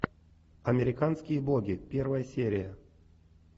американские боги первая серия